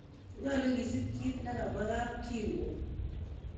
Nyolu kisiip kiit nekamwaa kapkirwok